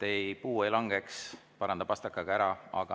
Et puu ei langeks, paranda pastakaga ära.